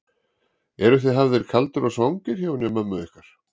Eruð þið hafðir kaldir og svangir hjá henni mömmu ykkar?